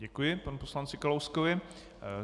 Děkuji panu poslanci Kalouskovi.